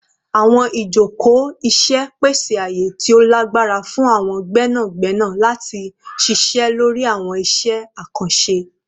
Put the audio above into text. Awọn ijoko iṣẹ pese aaye ti o lagbara fun awọn gbẹnagbẹna lati ṣiṣẹ lori awọn iṣẹ akanṣe